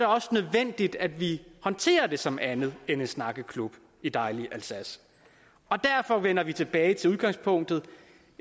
også nødvendigt at vi håndterer det som noget andet end en snakkeklub i dejlige alsace derfor vender vi tilbage til udgangspunktet